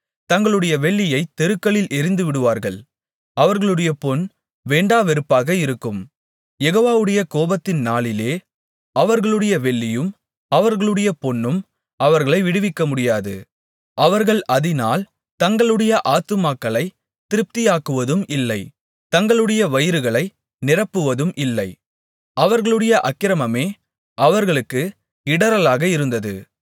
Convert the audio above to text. தங்களுடைய வெள்ளியைத் தெருக்களில் எறிந்துவிடுவார்கள் அவர்களுடைய பொன் வேண்டாவெறுப்பாக இருக்கும் யெகோவாவுடைய கோபத்தின் நாளிலே அவர்களுடைய வெள்ளியும் அவர்களுடைய பொன்னும் அவர்களை விடுவிக்கமுடியாது அவர்கள் அதினால் தங்களுடைய ஆத்துமாக்களைத் திருப்தியாக்குவதும் இல்லை தங்களுடைய வயிறுகளை நிரப்புவதும் இல்லை அவர்களுடைய அக்கிரமமே அவர்களுக்கு இடறலாக இருந்தது